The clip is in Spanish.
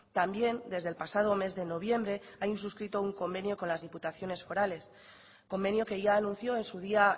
también desde el pasado mes de noviembre hay suscrito un convenio con las diputaciones forales convenio que ya anunció en su día